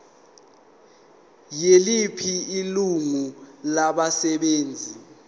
yiliphi ilungu labasebenzi